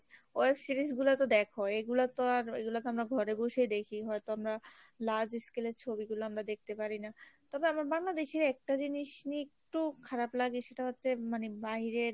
web series গুলা তো দেখোই। এগুলা তো আর এগুলা তো আমরা ঘরে বসেই দেখি হয়তো আমরা large scale এর ছবিগুলা আমরা দেখতে পারি না তবে আমার বাংলাদেশের একটা জিনিস নিয়ে একটু খারাপ লাগে সেটা হচ্ছে মানে বাইরের